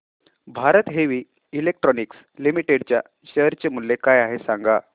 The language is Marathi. भारत हेवी इलेक्ट्रिकल्स लिमिटेड च्या शेअर चे मूल्य काय आहे सांगा